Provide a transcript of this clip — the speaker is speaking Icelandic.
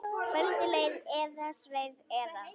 Kvöldið leið eða sveif eða.